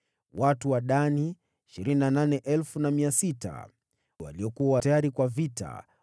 Watu wa Dani 28,600 waliokuwa tayari kwa vita.